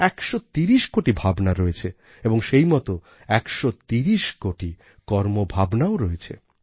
১৩০ কোটি ভাবনা রয়েছে এবং সেই মত ১৩০ কোটি কর্মভাবনাও রয়েছে